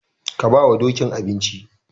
Ka bawa Dokin abinci.